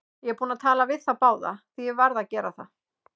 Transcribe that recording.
Ég er búinn að tala við þá báða, því ég varð að gera það.